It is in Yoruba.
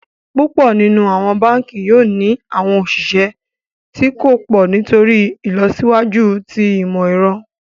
Púpọ̀ nínu awọn bánkì yoo ni awọn osìsẹ̀ tó kò pọ̀ nítorí ilọsiwaju tí imọ̀-ẹ̀rọ̀.